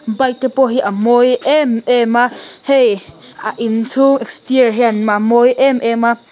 bike te pawh hi a mâwi êm êm a hei a inchhûng exterior hian a mâwi êm êm a.